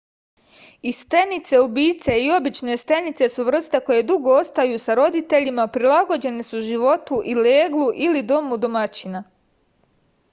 i stenice-ubice i obične stenice su vrste koje dugo ostaju sa roditeljima prilagođene su životu u leglu ili domu domaćina